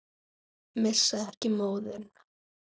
Missa ekki móðinn.